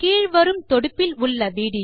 கீழ் வரும் தொடுப்பில் விடியோவை காணவும்